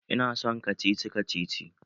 Ina son kacici kacici